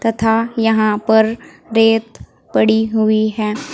तथा यहां पर रेत पड़ी हुई है।